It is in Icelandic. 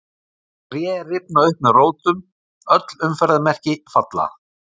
Tré rifna upp með rótum, öll umferðarmerki falla.